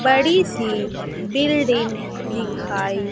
बड़ी सी बिल्डिंग दिखाई--